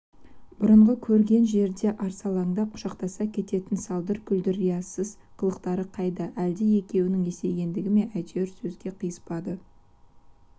бұрынғы көрген жерде арсалаңдап құшақтаса кететін салдыр-күлдір риясыз қылықтары қайда әлде екеуінің есейгендігі ме әйтеуір сөздер қиыспады